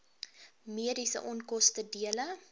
mediese onkoste dele